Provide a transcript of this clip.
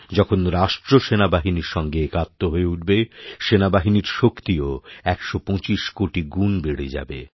যখন রাষ্ট্র সেনাবাহিনীর সঙ্গেএকাত্ম হয়ে উঠবে সেনাবাহিনীর শক্তিও ১২৫ কোটি গুণ বেড়ে যাবে